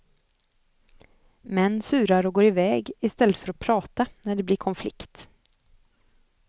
Män surar och går iväg istället för att prata när det blir konflikt.